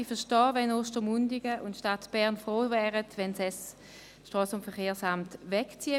Ich verstehe, dass Ostermundigen und die Stadt Bern froh wären, das SVSA würde wegziehen.